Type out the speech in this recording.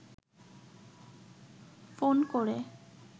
phone করে